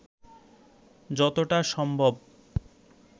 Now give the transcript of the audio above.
যতটা সম্ভব